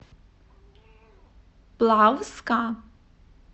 плавска